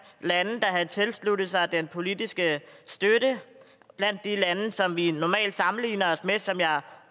lande der havde tilsluttet sig den politiske støtte blandt de lande som vi normalt sammenligner os med som jeg